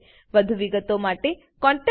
વધુ વિગતો માટે contactspoken tutorialorg પર લખો